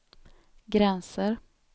gränser